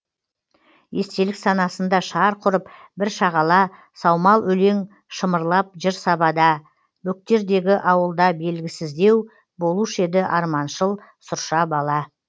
естелік санасында шарқ ұрып бір шағала саумал өлең шымырлап жыр сабада бөктердегі ауылда белгісіздеу болушы еді арманшыл сұрша бала